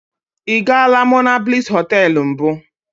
I gaala monablis hoteelu mbụ.